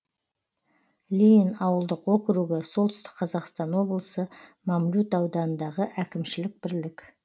ленин ауылдық округі солтүстік қазақстан облысы мамлют ауданындағы әкімшілік бірлік